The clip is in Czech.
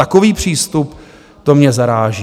Takový přístup, to mě zaráží.